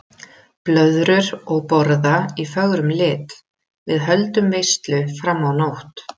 Blöðrur og borða í fögrum lit, við höldum veislu fram á nótt.